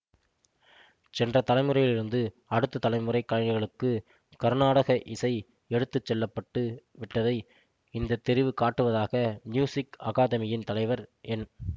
சென்ற தலைமுறையிலிருந்து அடுத்த தலைமுறை கலைஞர்களுக்கு கருநாடக இசை எடுத்து செல்ல பட்டு விட்டதை இந்த தெரிவு காட்டுவதாக மியூசிக் அகாதெமியின் தலைவர் என்